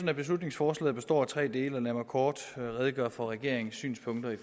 at beslutningsforslaget består af tre dele lad mig kort redegøre for regeringens synspunkter i